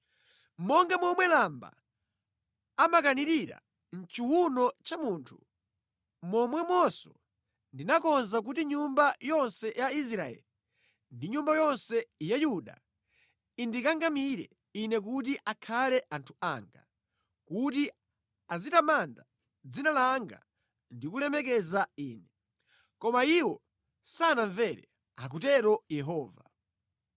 Monga momwe lamba amakanirira mʼchiwuno cha munthu, momwemonso ndinakonza kuti nyumba yonse ya Israeli ndi nyumba yonse ya Yuda indikangamire Ine kuti akhale anthu anga, kuti azitamanda dzina langa ndi kulemekeza Ine. Koma iwo sanamvere,’ akutero Yehova.